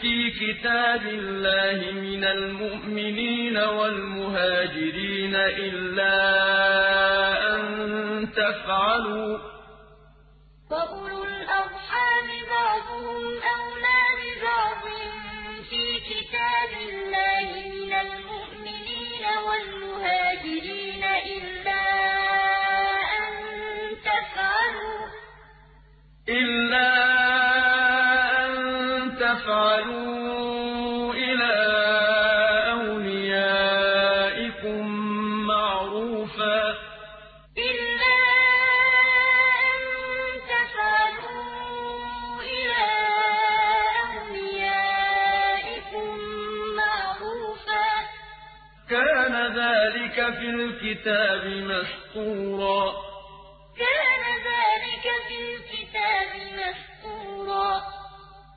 فِي كِتَابِ اللَّهِ مِنَ الْمُؤْمِنِينَ وَالْمُهَاجِرِينَ إِلَّا أَن تَفْعَلُوا إِلَىٰ أَوْلِيَائِكُم مَّعْرُوفًا ۚ كَانَ ذَٰلِكَ فِي الْكِتَابِ مَسْطُورًا النَّبِيُّ أَوْلَىٰ بِالْمُؤْمِنِينَ مِنْ أَنفُسِهِمْ ۖ وَأَزْوَاجُهُ أُمَّهَاتُهُمْ ۗ وَأُولُو الْأَرْحَامِ بَعْضُهُمْ أَوْلَىٰ بِبَعْضٍ فِي كِتَابِ اللَّهِ مِنَ الْمُؤْمِنِينَ وَالْمُهَاجِرِينَ إِلَّا أَن تَفْعَلُوا إِلَىٰ أَوْلِيَائِكُم مَّعْرُوفًا ۚ كَانَ ذَٰلِكَ فِي الْكِتَابِ مَسْطُورًا